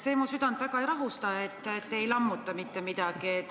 See mu südant väga ei rahusta, et te ei lammuta mitte midagi.